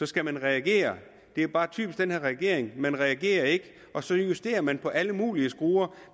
skal man reagere det er bare typisk den her regering man reagerer ikke og så justerer man på alle mulige skruer